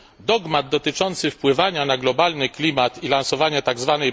Dogmat dotyczący wpływania na globalny klimat i lansowania tzw.